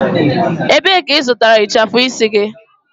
Ebee ka ị zụtara ịchafụ isi gị?